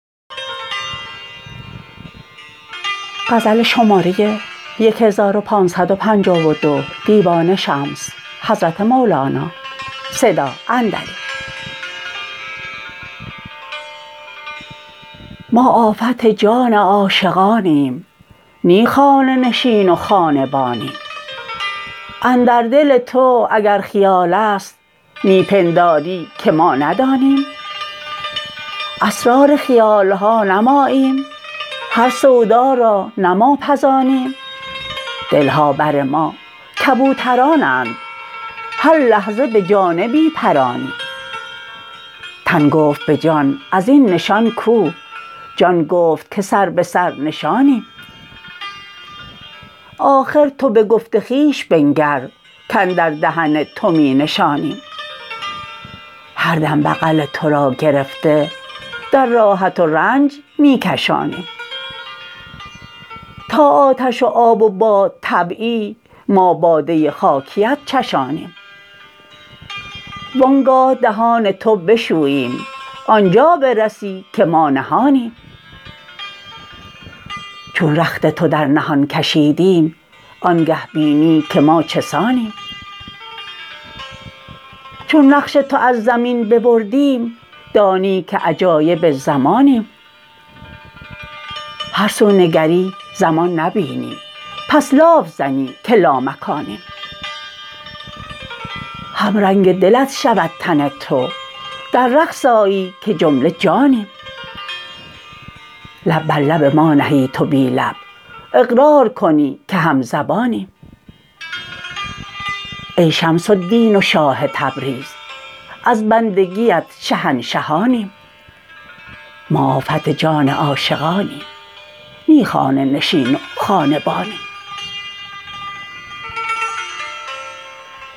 ما آفت جان عاشقانیم نی خانه نشین و خانه بانیم اندر دل تو اگر خیال است می پنداری که ما ندانیم اسرار خیال ها نه ماییم هر سودا را نه ما پزانیم دل ها بر ما کبوترانند هر لحظه به جانبی پرانیم تن گفت به جان از این نشان کو جان گفت که سر به سر نشانیم آخر تو به گفت خویش بنگر کاندر دهن تو می نشانیم هر دم بغل تو را گرفته در راحت و رنج می کشانیم تا آتش و آب و بادطبعی ما باده خاکیت چشانیم وان گاه دهان تو بشوییم آن جا برسی که ما نهانیم چون رخت تو در نهان کشیدیم آنگه بینی که ما چه سانیم چون نقش تو از زمین ببردیم دانی که عجایب زمانیم هر سو نگری زمان نبینی پس لاف زنی که لامکانیم همرنگ دلت شود تن تو در رقص آیی که جمله جانیم لب بر لب ما نهی تو بی لب اقرار کنی که همزبانیم ای شمس الدین و شاه تبریز از بندگیت شهنشهانیم